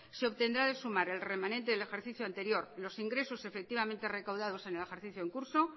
se obtendrá de sumar el remanente del ejercicio anterior los ingresos efectivamente recaudados en el ejercicio en curso